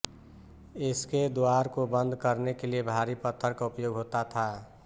इसके द्वार को बंद करने के लिए भारी पत्थर का उपयोग होता था